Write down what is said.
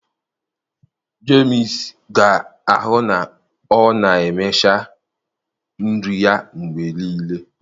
Jemsị ga-ahụ na ọ na-emecha nri ya mgbe niile.